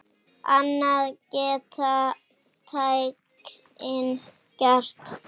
Annað geta tækin gert.